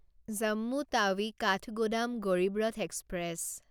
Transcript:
Jammu Tawi Kathgodam Garib Rath express